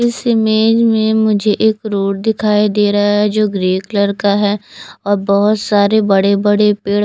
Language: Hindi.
इस इमेज में मुझे एक रोड दिखाई दे रहा है जो ग्रे कलर का है और बहुत सारे बड़े बड़े पेड़ --